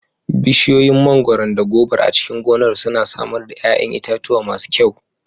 Bishiyoyin mangwaron da gobar a cikin gonar suna samar da ƴaƴan itatuwa masu kyau.